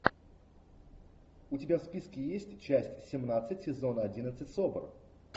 у тебя в списке есть часть семнадцать сезона одиннадцать собр